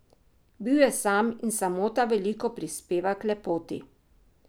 Bil je sam in samota veliko prispeva k lepoti.